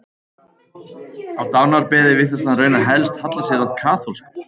Á dánarbeði virtist hann raunar helst halla sér að kaþólsku.